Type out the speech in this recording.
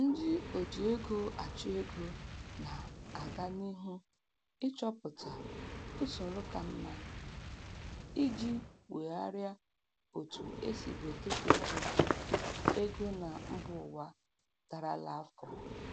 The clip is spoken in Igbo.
Ndị oji ego achụ ego na-agan'ihu ịchọpụta usoro ka mma iji wegharịa otu esibu ekesa ego ego na mbụwa darala afọ